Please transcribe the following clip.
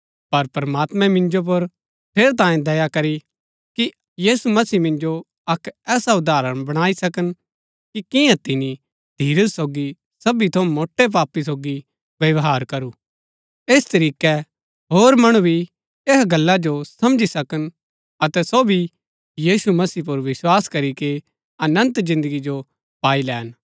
पर प्रमात्मैं मिन्जो पर ठेरैतांये दया करी कि यीशु मसीह मिन्जो अक्क ऐसा उदाहरण बणाई सकन कि किन्या तिनी धीरज सोगी सबी थऊँ मोट्टै पापी सोगी व्यवहार करू ऐस तरीकै होर मणु भी ऐहा गल्ला जो समझी सकन अतै सो भी मसीह यीशु पुर विस्वास करीके अनन्त जिन्दगी जो पाई लैन